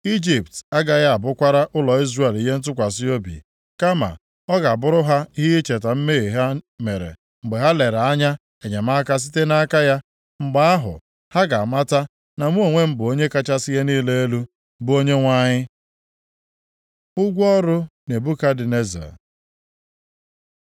Ijipt agaghị abụkwara ụlọ Izrel ihe ntụkwasị obi, kama ọ ga-abụrụ ha ihe iji cheta mmehie ha mere mgbe ha lere anya enyemaka site nʼaka ya. Mgbe ahụ, ha ga-amata na mụ onwe m bụ Onye kachasị ihe niile elu, bụ + 29:16 Maọbụ, Onyenwe ha Onyenwe anyị.’ ” Ụgwọ ọrụ Nebukadneza